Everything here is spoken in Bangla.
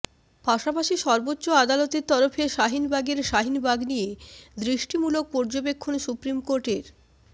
পাশাপাশি সর্বোচ্চ আদালতের তরফে শাহিনবাগের শাহিনবাগ নিয়ে দৃষ্টিমূলক পর্যবেক্ষন সুপ্রিম কোর্টের